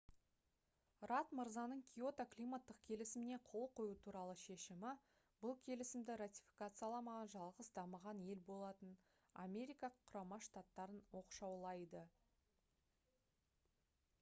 радд мырзаның киото климаттық келісіміне қол қою туралы шешімі бұл келісімді ратификацияламаған жалғыз дамыған ел болатын америка құрама штаттарын оқшаулайды